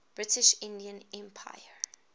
british indian empire